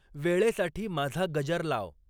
वेळेसाठी माझा गजर लाव.